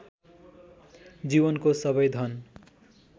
जीवनको सबै धन